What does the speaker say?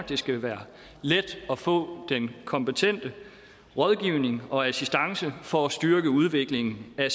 det skal være let at få den kompetente rådgivning og assistance for at styrke udviklingen af